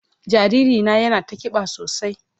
Jariri na yana ta kiba sosai.